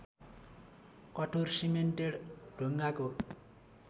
कठोर सिमेन्टेड ढुङ्गाको